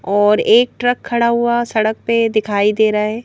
और एक ट्रक खड़ा हुआ सड़क पे दिखाई दे रहा है ।